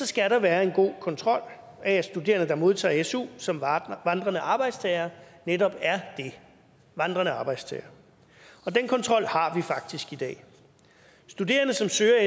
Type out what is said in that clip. skal være en god kontrol af at studerende der modtager su som vandrende arbejdstagere netop er det vandrende arbejdstagere og den kontrol har vi faktisk i dag studerende som søger